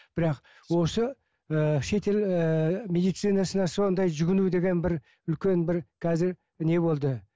бірақ осы ыыы шетел ыыы медицинасына сондай жүгіну деген бір үлкен бір қазір не болды